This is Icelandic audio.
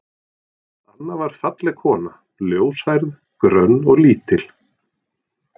Anna var falleg kona, ljóshærð, grönn og lítil.